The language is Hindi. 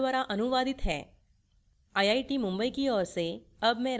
यह script it द्वारा अनुवादित है आई आई टी मुंबई से अब मैं श्रुति आर्य आपसे विदा लेती हूँ